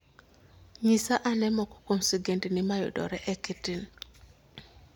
Nyisa ane moko kuom sigendni mayudore e k. t. n.